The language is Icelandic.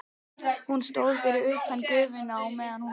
Hún stóð fyrir utan gufuna á meðan hún vatt.